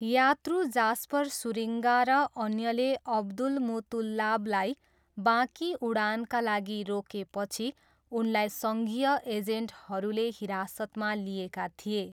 यात्रु Jasper Schuringa र अन्यले अब्दुलमुतल्लाबलाई बाँकी उडानका लागि रोकेपछि उनलाई सङ्घीय एजेन्टहरूले हिरासतमा लिएका थिए।